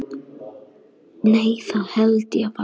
Nei það held ég varla.